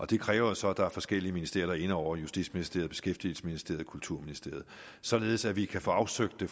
det kræver jo så at der er forskellige ministerier inde over justitsministeriet beskæftigelsesministeriet og kulturministeriet således at vi kan få afsøgt det